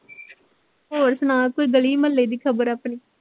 ਹੋਰ ਸੁਣਾ ਕੋਈ ਗਲੀ ਮੁਹੱਲੇ ਦੀ ਖਬਰ ਆਪਣੀ